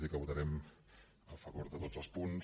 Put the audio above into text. dir que votarem a favor de tots els punts